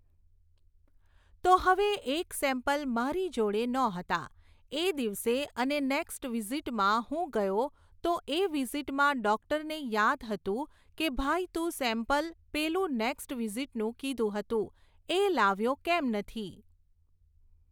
તો હવે એક સૅમ્પલ મારી જોડે નહોતા એ દિવસે અને નૅક્સ્ટ વિઝિટમાં હું ગયો તો એ વિઝિટમાં ડૉક્ટરને યાદ હતું કે ભાઈ તું સૅમ્પલ પેલું નૅક્સ્ટ વિઝિટનું કીધું હતું એ લાવ્યો કેમ નથી